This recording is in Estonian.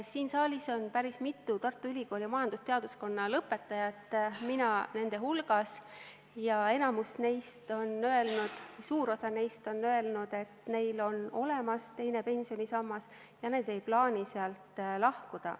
Siin saalis on päris mitu Tartu Ülikooli majandusteaduskonna lõpetanut, mina nende hulgas, ja enamik neist või suur osa neist on öelnud, et neil on olemas teine pensionisammas ja nad ei plaani sealt lahkuda.